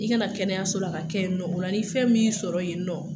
I ka na kɛnɛyaso la , k'a kɛ yen nɔ , o la ,ni fɛn min y'i sɔrɔ yen nɔ